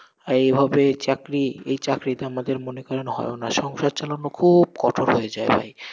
আর এইভাবে চাকরি, এই চাকরিতে আমাদের মনে করেন হয় ও না, সংসার চালানো খুব কঠোর হয়ে যায় ভাই।